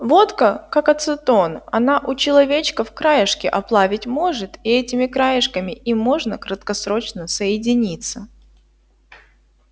водка как ацетон она у человечков краешки оплавить может и этими краешками им можно краткосрочно соединиться